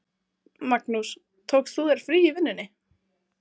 Magnús: Tókst þú þér frí í vinnunni?